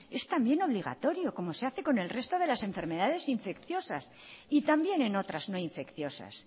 es también obligatorio como se hace con el resto de las enfermedades infecciosas y también en otras no infecciosas